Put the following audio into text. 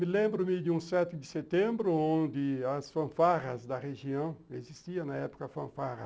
Me lembro-me de um sete de setembro onde as fanfarras da região, existia na época fanfarra,